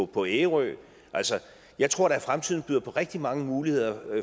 på ærø altså jeg tror da at fremtiden byder på rigtig mange muligheder